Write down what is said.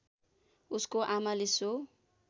उसको आमाले सो